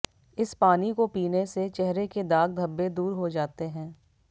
इस पानी को पीने से चेहरे के दाग धब्बें दूर हो जाते हैं